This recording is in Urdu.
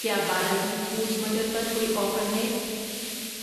کیا بالاجی فوڈز مٹر پر کوئی آفر ہے؟